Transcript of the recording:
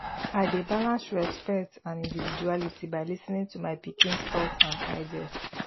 i dey balance respect and individuality by lis ten ing to my pikins thoughts and ideas